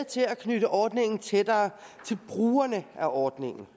til at knytte ordningen tættere til brugerne af ordningen